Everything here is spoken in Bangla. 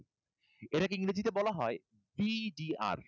আমরা এখানে কি বলবো বলো তো? আমরা এই অংশটাকে এইযে এইটুকুটাকে বলবো হচ্ছে voltage drop.